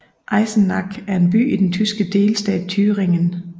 Eisenach er en by i den tyske delstat Thüringen